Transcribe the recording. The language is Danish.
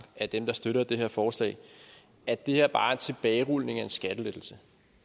af dem der støtter det her forslag at det her bare er en tilbagerulning af en skattelettelse